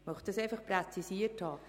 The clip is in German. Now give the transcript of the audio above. Ich möchte das präzisieren.